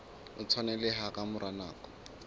o tshwaneleha ka mora nako